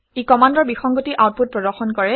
ই কমাণ্ডৰ বিসংগতি আউটপুট প্ৰদৰ্শন কৰে